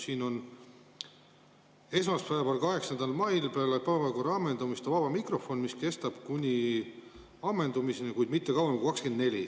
Siin on kirjas, et esmaspäeval, 8. mail peale päevakorra ammendumist on vaba mikrofon, mis kestab kuni ammendumiseni, kuid mitte kauem kui 24‑ni.